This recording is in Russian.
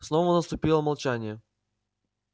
снова наступило молчание